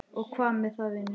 Og hvað með það, vinur?